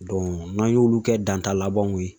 n'an y'olu kɛ danta labanw ye